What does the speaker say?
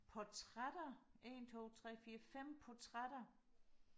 portrætter en to tre fire fem portrætter